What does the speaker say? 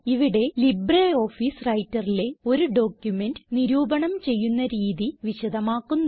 ഇവിടെ ലിബ്രിയോഫീസ് Writerലെ ഒരു ഡോക്യുമെന്റ് നിരൂപണം ചെയ്യുന്ന രീതി വിശദമാക്കുന്നു